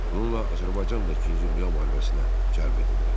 Planla Azərbaycan da İkinci Dünya müharibəsinə cəlb edildi.